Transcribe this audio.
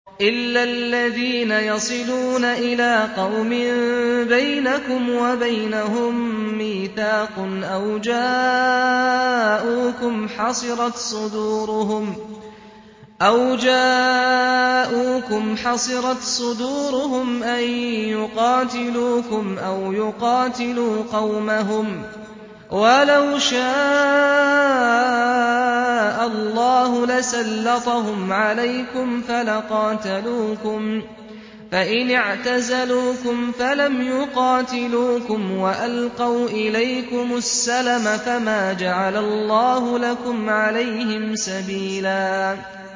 إِلَّا الَّذِينَ يَصِلُونَ إِلَىٰ قَوْمٍ بَيْنَكُمْ وَبَيْنَهُم مِّيثَاقٌ أَوْ جَاءُوكُمْ حَصِرَتْ صُدُورُهُمْ أَن يُقَاتِلُوكُمْ أَوْ يُقَاتِلُوا قَوْمَهُمْ ۚ وَلَوْ شَاءَ اللَّهُ لَسَلَّطَهُمْ عَلَيْكُمْ فَلَقَاتَلُوكُمْ ۚ فَإِنِ اعْتَزَلُوكُمْ فَلَمْ يُقَاتِلُوكُمْ وَأَلْقَوْا إِلَيْكُمُ السَّلَمَ فَمَا جَعَلَ اللَّهُ لَكُمْ عَلَيْهِمْ سَبِيلًا